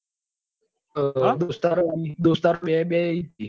દોસ્તાર દોસ્તાર બે બે છે.